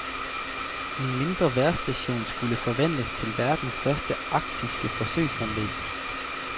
En mindre vejrstation skulle forvandles til verdens største arktiske forsøgsanlæg.